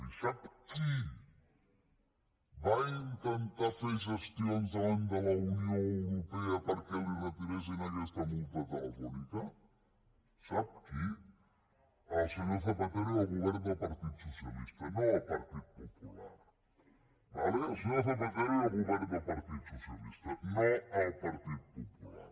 i sap qui va intentar fer gestions davant de la unió europea perquè li retiressin aquesta multa a telefónica sap qui el senyor zapatero i el govern del partit socialista no el partit popular d’acord el senyor zapatero i el govern del partit socialista no el partit popular